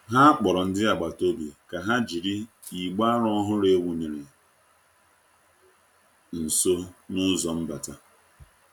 Ha kpọrọ ndị agbata obi ka ha jiri igbe aro ọhụrụ e wụnyere nso n'ụzọ mbata.